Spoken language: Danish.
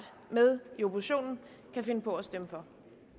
med i oppositionen kan finde på at stemme for